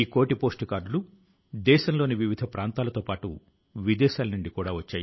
ఈ సన్మానం తరువాత ఆయన తాను చదువుకున్న పాఠశాల ప్రిన్సిపల్ కు ఒక లేఖ ను రాశారు